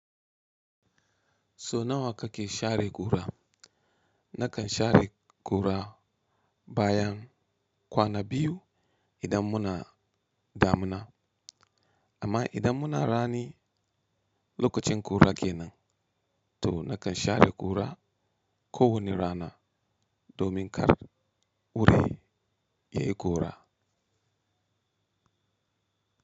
So nawa kake share kura? Nakan share ƙura bayan kwana biyu idan muna damina, amma idan muna rani lokacin ƙura ke nan, to nakan share ƙura kowane rana domin kar wuri yayi ƙura.